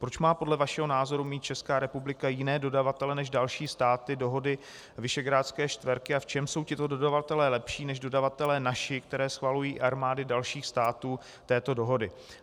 Proč má podle vašeho názoru mít Česká republika jiné dodavatele než další státy dohody Visegrádské čtverky a v čem jsou tito dodavatelé lepší než dodavatelé naši, které schvalují armády dalších států této dohody?